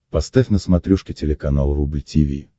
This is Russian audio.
поставь на смотрешке телеканал рубль ти ви